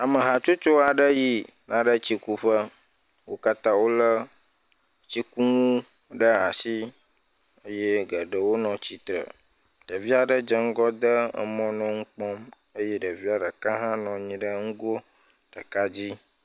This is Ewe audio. Ame hatsotso aɖe yina ɖe tsi ku ƒe wo katã wole tsikunu ɖe asi eye geɖewo nɔ tsitre ɖevi aɖe dze ŋgɔ de emɔ nɔ nu kpɔm eye ɖevi ɖeka ha nɔ anyi ɖe ŋgo ɖeka dzi.